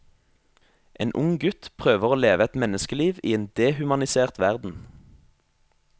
En ung gutt prøver å leve et menneskeliv i en dehumanisert verden.